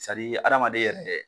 adamaden yɛrɛ dɛ